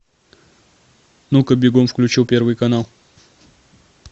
ну ка бегом включил первый канал